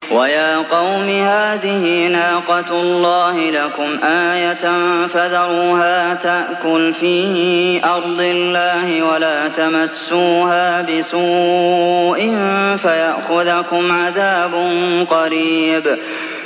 وَيَا قَوْمِ هَٰذِهِ نَاقَةُ اللَّهِ لَكُمْ آيَةً فَذَرُوهَا تَأْكُلْ فِي أَرْضِ اللَّهِ وَلَا تَمَسُّوهَا بِسُوءٍ فَيَأْخُذَكُمْ عَذَابٌ قَرِيبٌ